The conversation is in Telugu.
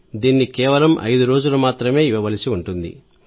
దీన్ని కేవలం ఐదు రోజులు మాత్రమే ఇవ్వవలసి ఉంటుంది